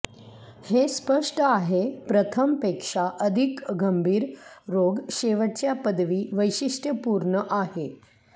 हे स्पष्ट आहे प्रथम पेक्षा अधिक गंभीर रोग शेवटच्या पदवी वैशिष्ट्यपूर्ण आहे